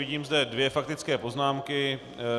Vidím zde dvě faktické poznámky.